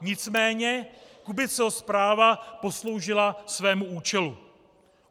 Nicméně Kubiceho zpráva posloužila svému účelu.